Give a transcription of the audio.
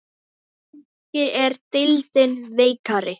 Kannski er deildin veikari?